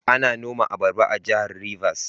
Ana noma abaraba a Jihar Rivers.